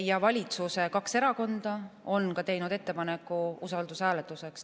Ja valitsuse kaks erakonda on teinud ettepaneku usaldushääletuseks.